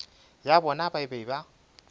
ya bona ba be ba